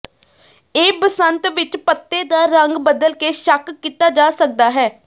ਇਹ ਬਸੰਤ ਵਿਚ ਪੱਤੇ ਦਾ ਰੰਗ ਬਦਲ ਕੇ ਸ਼ੱਕ ਕੀਤਾ ਜਾ ਸਕਦਾ ਹੈ